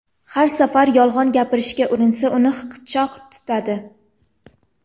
Har safar yolg‘on gapirishga urinsa, uni hiqichoq tutadi.